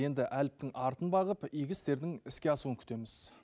енді әліптің артын бағып игі істердің іске асуын күтеміз